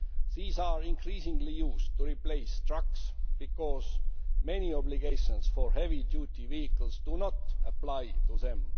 These are increasingly used to replace trucks because many obligations for heavy duty vehicles do not apply to them.